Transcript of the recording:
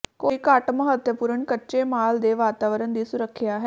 ਕੋਈ ਘੱਟ ਮਹੱਤਵਪੂਰਨ ਕੱਚੇ ਮਾਲ ਦੇ ਵਾਤਾਵਰਣ ਦੀ ਸੁਰੱਖਿਆ ਹੈ